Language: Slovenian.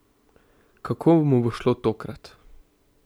Kako mu bo šlo tokrat?